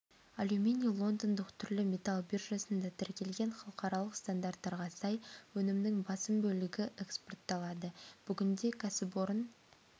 алюминий лондондық түрлі металл биржасында тіркелген халықаралық стандарттарға сай өнімнің басым бөлігі экспортталады бүгінде кәсіпорын